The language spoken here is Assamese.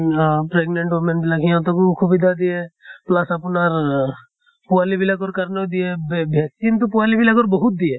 হা pregnant women বিলাক সিহঁতকো সুবিধা দিয়ে। plus আপোনাৰ পোৱালী বিলাকৰ কাৰণেও দিয়ে ব vaccine তো পোৱালী বিলাকৰ বহুত দিয়ে।